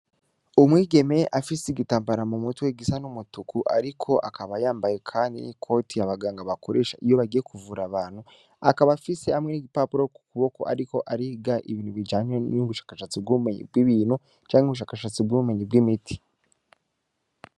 Umwigeme afise igitambara mu mutwe gisa n'umutuku, ariko akaba yambaye, kandi n'i koti abaganga bakoresha iyo bagiye kuvura abantu akaba afise hamwe n'igipapuro ku kuboko, ariko ariga ibintu bijanye n'ubushakashatsi bw'umenyi bw'ibintu canke ubushakashatsi bw'ubumenyi bw'imiti.